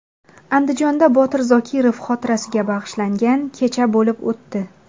Andijonda Botir Zokirov xotirasiga bag‘ishlangan kecha bo‘lib o‘tdi.